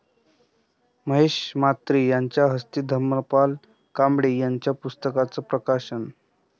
महेश म्हात्रे यांच्या हस्ते धर्मपाल कांबळे यांच्या पुस्तकांचं प्रकाशन